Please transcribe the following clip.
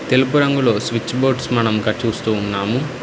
తెలుపు రంగులో switch boards మనం చూస్తూ ఉన్నాము